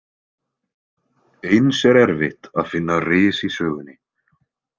Eins er erfitt að finna ris í sögunni.